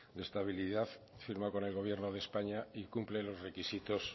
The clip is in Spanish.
de estabilidad firmado con el gobierno de españa y cumple los requisitos